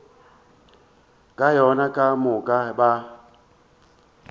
ka yona ka moka ba